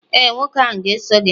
ee, nwoke ahụ ga-eso gị.